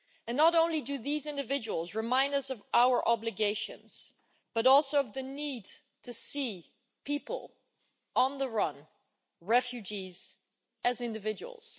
Not only do these individuals remind us of our obligations, but also of the need to see people on the run, refugees, as individuals.